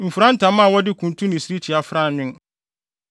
Mfura ntama a wɔde kuntu ne sirikyi afra anwen.